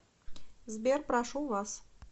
сбер прошу вас